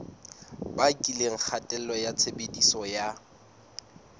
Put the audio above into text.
bakileng kgatello ya tshebediso ya